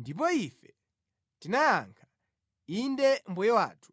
Ndipo ife tinayankha, ‘Inde mbuye wathu,